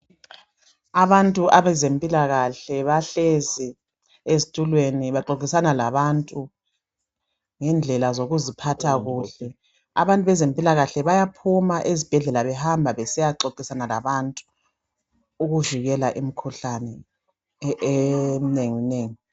Abantu abezempilakahle bahlezi ezitulweni baxoxisana labantu ngendlela zokuziphatha kuhle. Abantu bezempilakahle bayaphuma behamba besiya xoxisana labantu ukuvikela imikhuhlane eminenginengi.